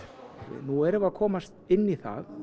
nú erum við að komast inn í það